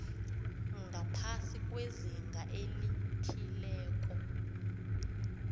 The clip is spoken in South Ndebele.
ngaphasi kwezinga elithileko